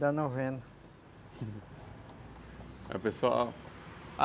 Da novena aí o pessoal